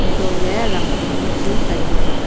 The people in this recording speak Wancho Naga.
antoh ley rang phong bu chu tailey.